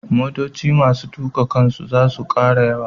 Motoci masu tuƙa kansu za su ƙara yawa.